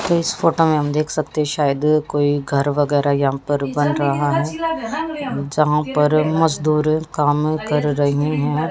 इस फोटो मे हम देख सकते है शायद कोई घर वगैरा यहां पर बन रहा है जहां पर मजदूर काम कर रहे हैं।